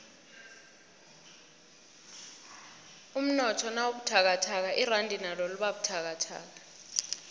umnotho nawubuthakathaka iranda nalo libabuthakathaka